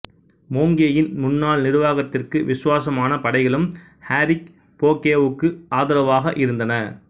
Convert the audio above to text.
மோங்கேயின் முன்னால் நிர்வாகத்திற்கு விசுவாசமான படைகளும் ஆரிக் போகேவுக்கு ஆதரவாக இருந்தன